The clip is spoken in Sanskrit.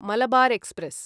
मलबार् एक्स्प्रेस्